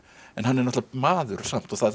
en hann er náttúrulega maður samt og það